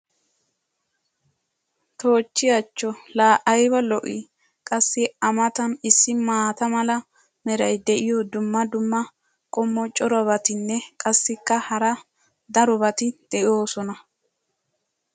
toochchi achcho! laa ayba lo'ii? qassi a matan issi maata mala meray diyo dumma dumma qommo corabatinne qassikka hara darobatti doosona